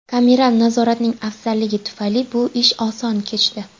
Kameral nazoratning afzalligi tufayli bu ish oson kechdi.